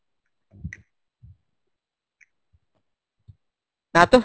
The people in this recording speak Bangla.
না তো